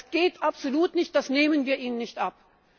Das geht absolut nicht, das nehmen wir Ihnen nicht ab!